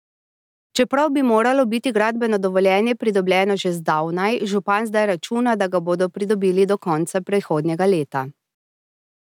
Čeprav bi moralo biti gradbeno dovoljenje pridobljeno že zdavnaj, župan zdaj računa, da ga bodo pridobili do konca prihodnjega leta.